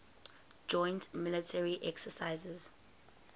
joint military exercises